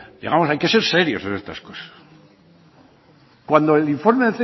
digamos hay que ser serios con estas cosas cuando el informe